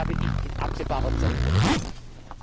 Diese Erwartung habe ich in absehbarer Zeit nicht.